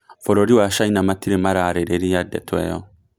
Bũrũri wa China matirĩ mararĩrĩria ndeto ĩyo